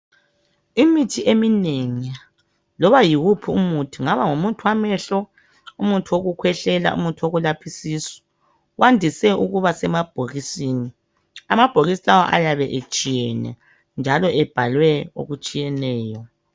Imithi eminengi loba yiwuphi umuthi kungaba ngumuthi wamehlo, umuthi okukhwehlela ,umuthi okulapha isisu wandise ukuba semabhokisini ,amabhokisi lawo ayabe etshiyene njalo ebhalwe okutshiyeneyo .